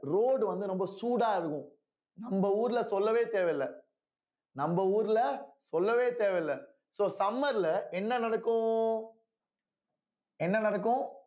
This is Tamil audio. road வந்து ரொம்ப சூடா இருக்கும் நம்ம ஊர்ல சொல்லவே தேவையில்ல நம்ம ஊர்ல சொல்லவே தேவையில்ல so summer ல என்ன நடக்கும் என்ன நடக்கும்